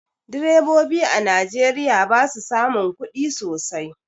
Direbobi a najeriya basu samun kudi sosai